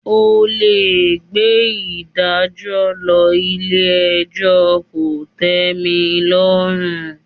O lè gbé ìdájọ́ lọ ilé ẹjọ́ kò tẹ́milọ́rùn.